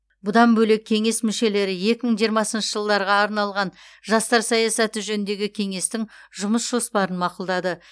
бұдан бөлек кеңес мүшелері екі мың жиырмасыншы жылдарға арналған жастар саясаты жөніндегі кеңестің жұмыс жоспарын мақұлдады